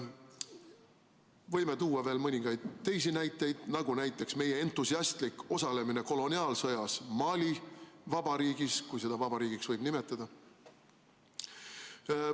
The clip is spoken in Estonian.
Võime tuua veel mõningaid teisi näiteid, nagu meie entusiastlik osalemine koloniaalsõjas Mali Vabariigis, kui seda vabariigiks võib nimetada.